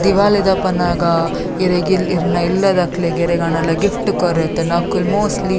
ದಿವಾಲಿ ದಪನಗ ಇರೆಗ್ ಇರ್ನ ಇಲ್ಲದಕ್ಲೆಗ್ ಎರೆಗಾಂಡ್ಲ ಗಿಫ್ಟ್ ಕೊರೆಗಿತ್ತುಂಡ ಅಕುಲು ಮೋಸ್ಟ್ಲಿ .